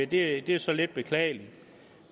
det er så lidt beklageligt